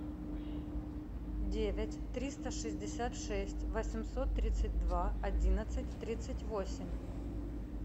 девять триста шестьдесят шесть восемьсот тридцать два одиннадцать тридцать восемь